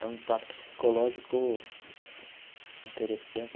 É um impacto psicológico interessante.